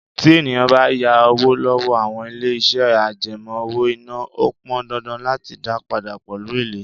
Tí ènìyàn bá yá owó lọ́wọ́ àwọn ilé iṣẹ́ àjẹmó owó-ìná, ó pọn dandan láti dá padà pẹ̀lú èlé.